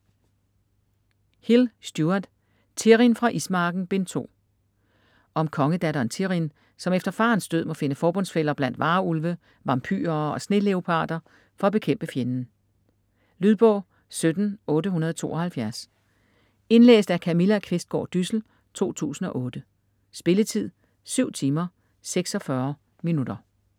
Hill, Stuart: Thirrin fra Ismarken: Bind 2 Om kongedatteren Thirrin, som efter farens død må finde forbundsfæller blandt varulve, vampyrer og sneleoparder for at bekæmpe fjenden. Lydbog 17872 Indlæst af Camilla Qvistgaard Dyssel, 2008. Spilletid: 7 timer, 46 minutter.